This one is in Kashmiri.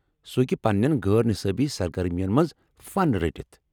سہ ہٮ۪کہ پنٛنیٚن غٲر نصابی سرگرمین منٛز فن رٹَِتھ ۔